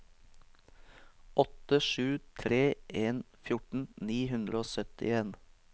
åtte sju tre en fjorten ni hundre og syttien